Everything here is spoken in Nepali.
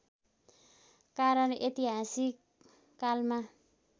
कारण ऐतिहासिक कालमा